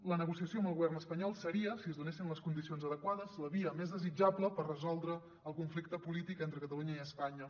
la negociació amb el govern espanyol seria si es donessin les condicions adequades la via més desitjable per resoldre el conflicte polític entre catalunya i espanya